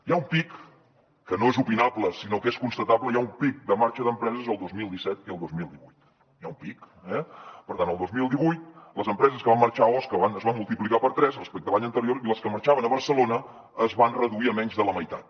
hi ha un pic que no és opinable sinó que és constatable de marxa d’empreses el dos mil disset i el dos mil divuit n’hi ha un pic eh per tant el dos mil divuit les empreses que van marxar a osca es van multiplicar per tres respecte a l’any anterior i les que marxaven a barcelona es van reduir a menys de la meitat